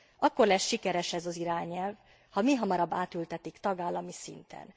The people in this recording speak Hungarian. Akkor lesz sikeres ez az irányelv, ha mihamarabb átültetik tagállami szinten.